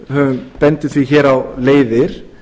við bendum því hér á leiðir